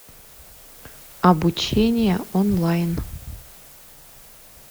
обучение онлайн